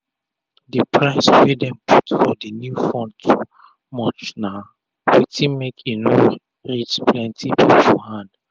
d price wey dem put for d new phone too much na wetin make e no reach plenti pipu hand